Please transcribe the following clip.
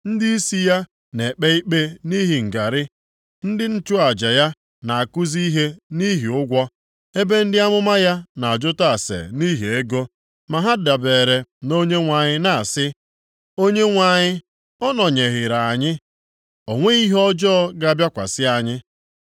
Ndịisi ya na-ekpe ikpe nʼihi ngarị, ndị nchụaja ya na-akụzi ihe nʼihi ụgwọ, ebe ndị amụma ya na-ajụta ase nʼihi ego. Ma ha dabere na Onyenwe anyị na-asị, “ Onyenwe anyị ọ nọnyeereghị anyị? O nweghị ihe ọjọọ ga-abịakwasị anyị.”